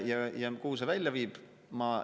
Kuhu see välja viib?